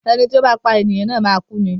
Ẹni tí ó bá pá ènìyàn na máa kú ni.